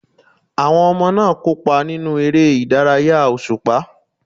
Àwọn ọmọ náà kópa nínú eré ìdárayá òṣùpá.